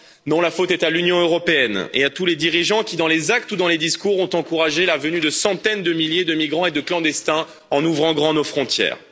Non, la faute est à l'Union européenne et à tous les dirigeants qui, dans les actes ou dans les discours, ont encouragé la venue de centaines de milliers de migrants et de clandestins en ouvrant grand nos frontières.